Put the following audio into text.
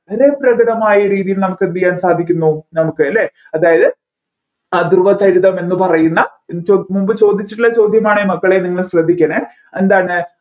വളരെ പ്രകടമായ രീതിയിൽ നമ്മുക്ക് എന്ത് ചെയ്യാൻ സാധിക്കുന്നു നമ്മുക്കല്ലേ അതായത് ആ ധ്രുവചരിതം എന്ന് പറയുന്ന മുൻപ് ചോദിച്ചിട്ടുള്ള ചോദ്യമാണെ മക്കളെ നിങ്ങൾ ശ്രദ്ധിക്കണേ എന്താണ്